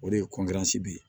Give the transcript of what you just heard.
O de ye ye